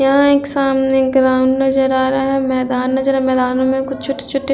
यहाँ एक सामने ग्राउंड नजर आ रहा है। मैदान नजर आ रहा मैदान में कुछ छोटे-छोटे--